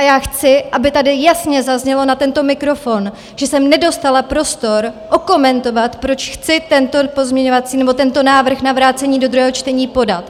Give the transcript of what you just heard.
A já chci, aby tady jasně zaznělo na tento mikrofon, že jsem nedostala prostor okomentovat, proč chci tento pozměňovací - nebo tento návrh na vrácení do druhého čtení podat.